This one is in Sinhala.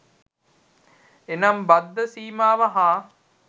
එනම් බද්ධ සීමාව හා